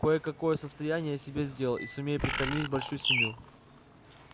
кое-какое состояние я себе сделал и сумею прокормить большую семью